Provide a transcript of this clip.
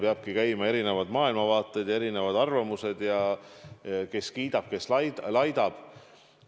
Peavadki olema esindatud erinevad maailmavaated ja erinevad arvamused – kes kiidab, kes laidab.